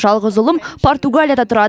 жалғыз ұлым португалияда тұрады